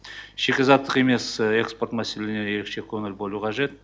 шикізаттық емес экспорт мәселелеріне ерекше көңіл бөлу қажет